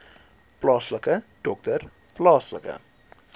plaaslike dokter plaaslike